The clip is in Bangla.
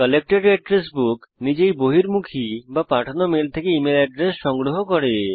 কালেক্টেড এড্রেস বুক নিজেই বহির্মুখী বা পাঠানো মেল থেকে ইমেল এড্রেস সংগ্রহ করে